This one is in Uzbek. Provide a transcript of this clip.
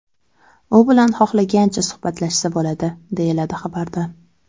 U bilan xohlagancha suhbatlashsa bo‘ladi”, deyiladi xabarda.